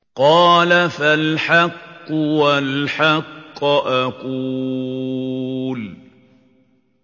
قَالَ فَالْحَقُّ وَالْحَقَّ أَقُولُ